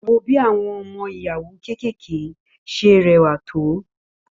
Wo bí àwọn ọmọ ìyàwó kékèké ṣe rẹwà tó